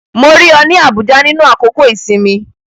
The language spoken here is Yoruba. Mo rí ọ ní Abuja nínú àkókò-ìsinmi